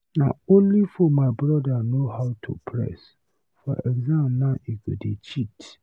Na only phone my brother know how to press, for exam now he go dey cheat.